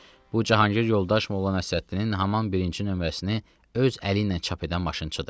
Bu Cahangir yoldaş Molla Nəsrəddinin haman birinci nömrəsini öz əli ilə çap edən maşınçıdır.